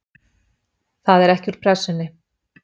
Það er ekki úr Pressunni.